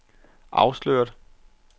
afsløret